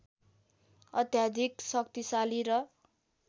अत्याधिक शक्तिशाली र